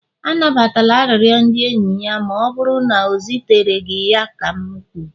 anabatala arịrịọ ndị enyi ya ma ọ bụrụ na o zitere gị ya ka m kwuru!